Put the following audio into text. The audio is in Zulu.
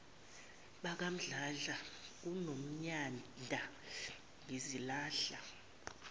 bakamdladla kanonyanda ngizilahla